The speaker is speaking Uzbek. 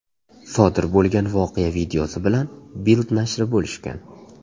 Sodir bo‘lgan voqea videosi bilan Bild nashri bo‘lishgan .